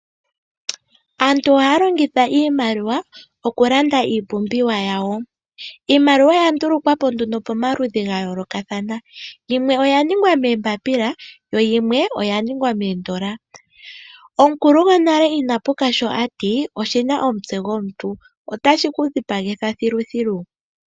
Aantu ohaya longitha iimaliwa okulanda iipumbiwa yawo, iimaliwa oyandulukwapo nduno pomaludhi gayolokathana yimwe oyaningwa meembapila yo yimwe oyaningwa moondola. Omukulu gonale inapuka sho ati oshina omutse gomuntu otashi shi kudhipagitha dhilu dhilu.